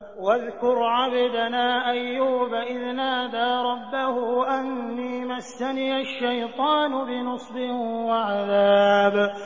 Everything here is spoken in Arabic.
وَاذْكُرْ عَبْدَنَا أَيُّوبَ إِذْ نَادَىٰ رَبَّهُ أَنِّي مَسَّنِيَ الشَّيْطَانُ بِنُصْبٍ وَعَذَابٍ